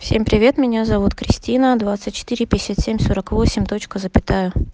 всем привет меня зовут кристина